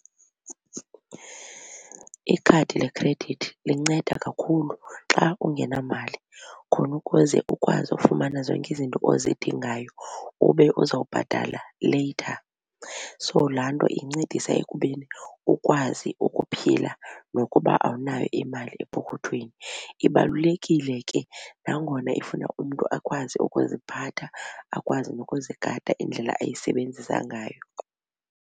Ikhadi lekhredithi linceda kakhulu xa ungenamali khona ukuze ukwazi ukufumana zonke izinto ozidingayo ube uzawubhatala later. So laa nto incedisa ekubeni ukwazi ukuphila nokuba awunayo imali epokothweni. Ibalulekile ke nangona ifuna umntu akwazi ukuziphatha, akwazi nokuzigada indlela ayisebenzisa ngayo.